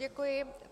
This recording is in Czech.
Děkuji.